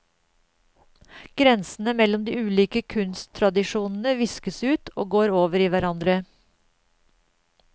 Grensene mellom de ulike kunsttradisjonene viskes ut og går over i hverandre.